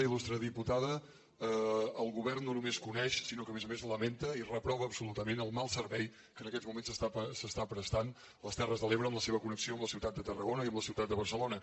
il·lustre diputada el govern no només coneix sinó que a més a més lamenta i reprova absolutament el mal servei que en aquests moments s’està prestant a les terres de l’ebre en la seva connexió amb la ciutat de tarragona i amb la ciutat de barcelona